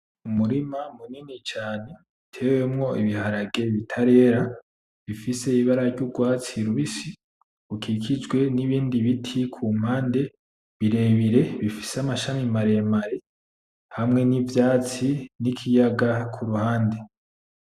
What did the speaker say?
Umurima munini cane uteyemwo ibiharage bitarera bifise ibara ryurwatsi rubisi rukikijwe nibindi biti kumpande birebire bifise amashami maremare hamwe nivyatsi nikiyaga kuruhande .